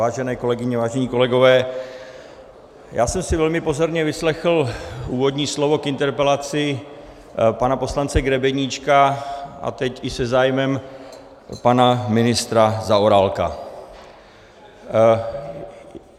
Vážené kolegyně, vážení kolegové, já jsem si velmi pozorně vyslechl úvodní slovo k interpelaci pana poslance Grebeníčka a teď i se zájmem pana ministra Zaorálka.